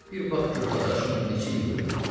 Bir bax gör dadaşım neçə ildir ölübdür.